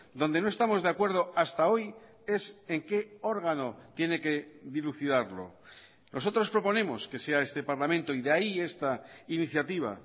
donde no estamos de acuerdo hasta hoy es en qué órgano tiene que dilucidarlo nosotros proponemos que sea este parlamento y de ahí esta iniciativa